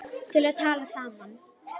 til að tala saman